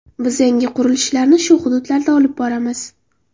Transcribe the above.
Biz yangi qurilishlarni shu hududlarda olib boramiz.